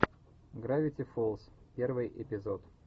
гравити фолз первый эпизод